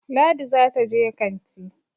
Ladi za ta je kanti